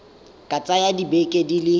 ka tsaya dibeke di le